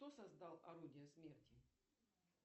кто создал орудие смерти